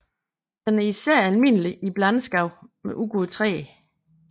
Den er især almindelig i blandskov med udgåede træer